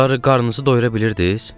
Barı qarnınızı doyura bilirdiz?